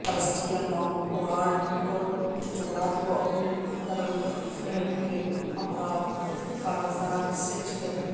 Cristiano Ronaldo جمعرات کو اپنی گرل فرینڈ کے ہمراہ کاذان سے چلے گئے